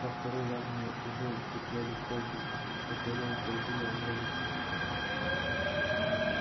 во второй раз мы уже укрепляли кровлю которая грозила обвалиться